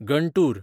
Guntur